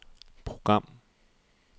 program